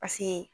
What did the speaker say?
Paseke